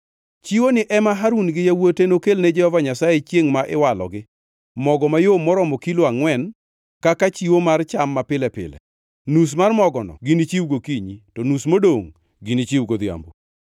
“Chiwoni ema Harun gi Yawuote nokelne Jehova Nyasaye chiengʼ ma iwalogi: Mogo mayom moromo kilo angʼwen + 6:20 Pim ma kawuono en lita ariyo. kaka chiwo mar cham mapile pile, nus mar mogono ginichiw gokinyi, to nus modongʼ ginichiw godhiambo.